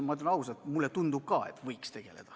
Jah, ma ütlen ausalt, ka mulle tundub, et võiks.